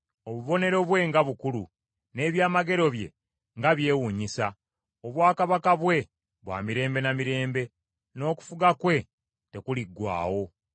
Obubonero bwe nga bukulu, n’eby’amagero bye nga byewuunyisa! Obwakabaka bwe bwa mirembe na mirembe; N’okufuga kwe tekuliggwaawo.